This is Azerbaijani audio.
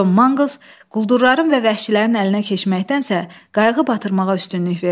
Con Maqles quldurların və vəhşilərin əlinə keçməkdənsə, qayığı batırmağa üstünlük verdi.